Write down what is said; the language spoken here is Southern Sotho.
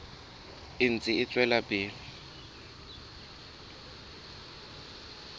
e ntse e tswela pele